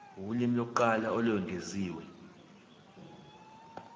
ulimi lokuqala olwengeziwe